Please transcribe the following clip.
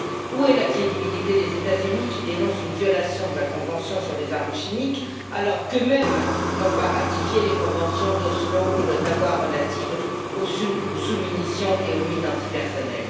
Où est la crédibilité des États Unis, qui dénoncent une violation de la convention sur les armes chimiques, alors qu'eux mêmes n'ont pas ratifié les Conventions d'Oslo et d'Ottawa relatives aux sous munitions et aux mines antipersonnel?